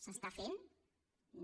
s’està fent no